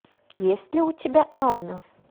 есть ли у тебя анна